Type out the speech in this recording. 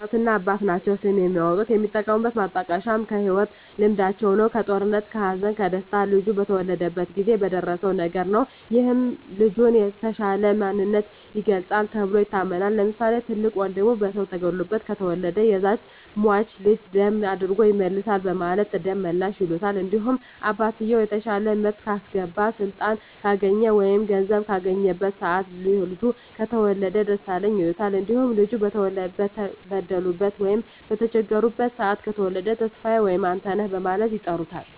እናትና አባት ናቸዉ ስም የሚያወጡት። የሚጠቀሙት ማጣቀሻም ከህይወት ልምዳቸዉ ነዉ(ከጦርነት ከሀዘን ከደስታ ልጁ በተወለደበት ጊዜ በደረሰዉ ነገር) ነዉ ይህም የልጁን የተሻለ ማንነት ይገልፃል ተብሎም ይታመናል። ለምሳሌ፦ ትልቅ ወንድሙ በሰዉ ተገሎበት ከተወለደ ያዛን ሟች ልጅ ደም አድጎ ይመልሳል በማለት ደመላሽ ይሉታል። እንዲሁም አባትየዉ የተሻለ ምርት ካስገባ ስልጣን ካገኘ ወይም ገንዘብ ካገኘበት ሰአት ልጁ ከተወለደ ደሳለኝ ይሉታል። እንዲሁም ልጁ በተበደሉበት ሰአት በተቸገሩበት ሰአት ከተወለደ ተስፋየ ወይም አንተነህ በማለት ይጠሩታል።